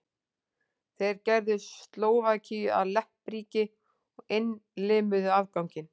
þeir gerðu slóvakíu að leppríki og innlimuðu afganginn